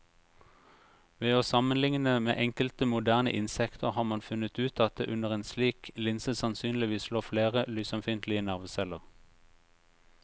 Ved å sammenligne med enkelte moderne insekter har man funnet ut at det under en slik linse sannsynligvis lå flere lysømfintlige nerveceller.